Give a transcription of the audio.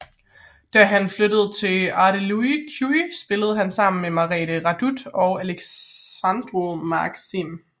Da han flyttede til Ardealul Cluj spillede han sammen med Merete Răduț og Alexandru Maxim